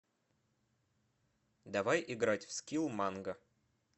давай играть в скилл манго